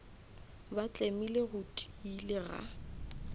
ba tlemile go tiile ga